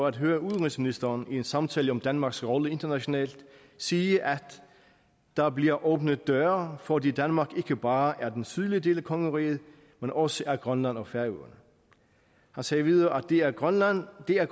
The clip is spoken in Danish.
at høre udenrigsministeren i i en samtale om danmarks rolle internationalt sige at der bliver åbnet døre fordi danmark ikke bare er den sydlige del af kongeriget men også er grønland og færøerne han sagde videre at det at grønland er